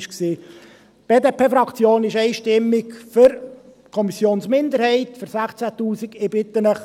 Die BDP-Fraktion ist einstimmig für die Kommissionsminderheit, für 16’000 Franken.